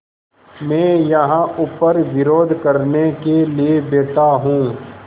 मैं यहाँ ऊपर विरोध करने के लिए बैठा हूँ